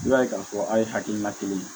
I b'a ye k'a fɔ aw ye hakilina kelen ye